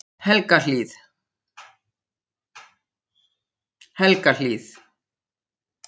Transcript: Helgahlíð